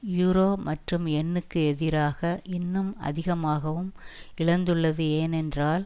euro மற்றும் யென்னுக்கு எதிராக இன்னும் அதிகமாகவும் இழந்துள்ளது ஏனென்றால்